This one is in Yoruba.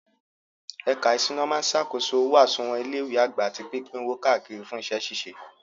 Ẹ̀ka ìṣúná máa ṣàkóso owó àsùnwọ̀n ilé ìwé àgbà àti pípín owó káàkiri fún iṣẹ́ ṣíṣe.